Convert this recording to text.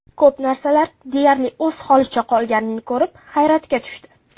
Ko‘p narsalar deyarli o‘z holicha qolganini ko‘rib, hayratga tushdi.